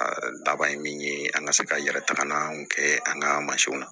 laban ye min ye an ka se ka yɛrɛ tagamaw kɛ an ka mansinw na